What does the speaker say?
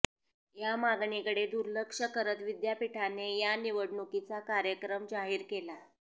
या मागणीकडे दुर्लक्ष करत विद्यापीठाने या निवडणूकीचा कार्यक्रम जाहीर केला